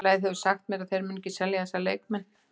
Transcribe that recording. Félagið hefur sagt mér að þeir muni ekki selja þessa leikmenn.